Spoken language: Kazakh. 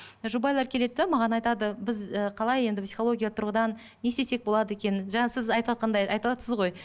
жұбайлар келеді де маған айтады біз і қалай енді психология тұрғыдан не істесек болады екен жаңа сіз айтыватқандай айтыватсыз ғой